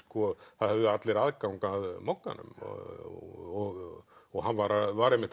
það höfðu allir aðgang að Mogganum og og hann var var einmitt